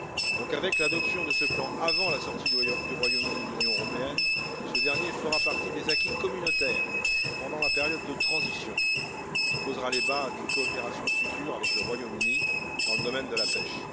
Donc, avec l'adoption de ce plan avant la sortie du Royaume Uni de l'Union européenne, ce dernier fera partie des acquis communautaires pendant la période de transition et posera les bases d'une coopération future avec le Royaume Uni dans le domaine de la pêche.